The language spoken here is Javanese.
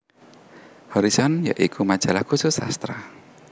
Horison ya iku majalah khusus sastra